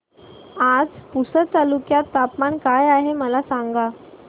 आज पुसद तालुक्यात तापमान काय आहे मला सांगा